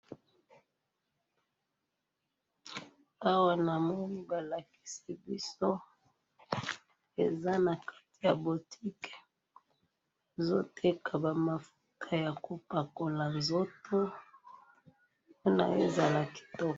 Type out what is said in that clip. awa namoni balakisi biso eza na kati ya boutique, bazo teka ba mafuta ya kopakola nzoto pona ezala kitiko